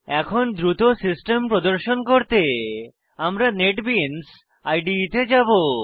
এখন দ্রুত সিস্টেম প্রদর্শন করতে আমি নেটবিনস ইদে তে যাবো